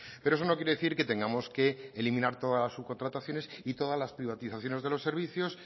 pero eso no quiere decir que tengamos que eliminar todas las subcontrataciones y todas las privatizaciones de los servicios